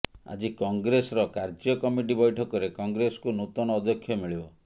ଆଜି କଂଗ୍ରେସର କାର୍ଯ୍ୟକମିଟି ବ୘ଠକରେ କଂଗ୍ରେସକୁ ନୂତନ ଅଧ୍ୟକ୍ଷ ମିଳିବ